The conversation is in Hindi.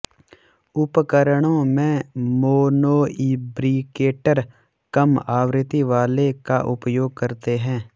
उपकरणों में मोनोइब्रिकेटर कम आवृत्ति वाले का उपयोग करते हैं